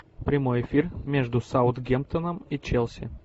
прямой эфир между саутгемптоном и челси